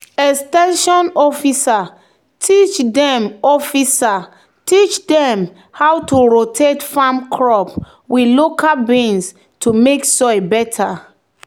"ex ten sion officer teach dem officer teach dem how to rotate farm crop with local beans to make soil better."